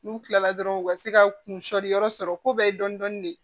N'u kilara dɔrɔn u ka se ka kunsɔrɔ yɔrɔ sɔrɔ ko bɛɛ ye dɔni dɔni de